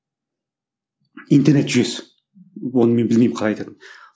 интернет жүйесі оны мен білмеймін қалай айтатынын